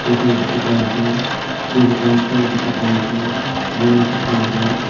Road khan dekhi pai ase green plant khan dekhi pai ase wire dekhi ase.